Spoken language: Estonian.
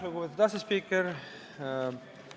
Lugupeetud asespiiker!